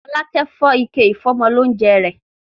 Fọlákẹ́ fọ́ ike ìfọ́mọlóúńjẹ rẹ̀.